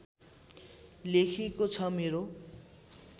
लेखिएको छ मेरो